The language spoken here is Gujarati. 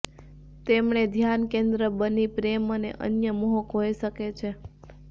તેમણે ધ્યાન કેન્દ્ર બની પ્રેમ અને અન્ય મોહક હોઈ શકે છે